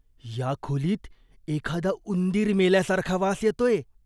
या खोलीत एखादा उंदीर मेल्यासारखा वास येतोय.